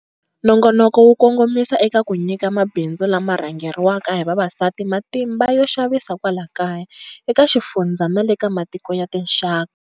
Nongonoko wu kongomisa eka ku nyika mabindzu lama rhangeriwaka hi vavasati matimba yo xavisa kwala kaya, eka xifundza na le ka matiko ya tinxaka.